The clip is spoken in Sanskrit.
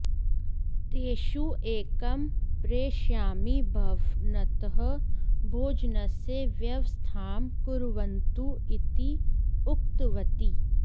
तेषु एकं प्रेषयामि भव न्तः भोजनस्य व्यवस्थां कुर्वन्तु इति उक्तवती